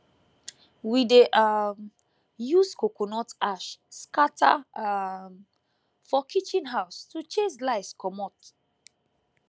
we dey um use coconut ash scatter um for chicken house to chase lice comot